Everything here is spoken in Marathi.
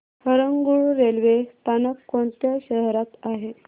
हरंगुळ रेल्वे स्थानक कोणत्या शहरात आहे